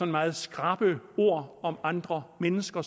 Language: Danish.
meget skrappe ord om andre mennesker